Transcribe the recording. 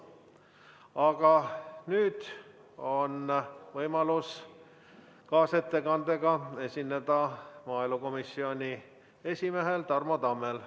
Aga nüüd on võimalus kaasettekandega esineda maaelukomisjoni esimehel Tarmo Tammel.